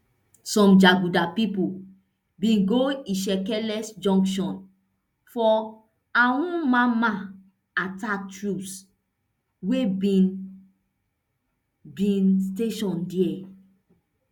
some jaguda pipo bin go ishieke junction for awoomamma attack troops wey bin bin station dia